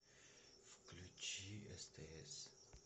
включи стс